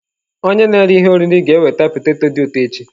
Onye na-ere ihe oriri ga-eweta poteto dị ụtọ echi.